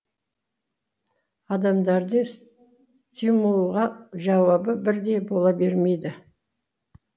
адамдардың стимулға жауабы бірдей бола бермейді